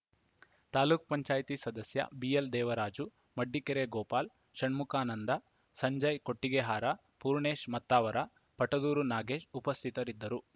ತಾಲೂಕ್ ಪಂಚಾಯತ್ ಸದಸ್ಯ ಬಿಎಲ್‌ ದೇವರಾಜು ಮಡ್ಡಿಕೆರೆ ಗೋಪಾಲ್‌ ಷಣ್ಮುಕಾನಂದ ಸಂಜಯ್‌ ಕೊಟ್ಟಿಗೆಹಾರ ಪೂರ್ಣೇಶ್‌ ಮತ್ತಾವರ ಪಟದೂರು ನಾಗೇಶ್‌ ಉಪಸ್ಥಿತರಿದ್ದರು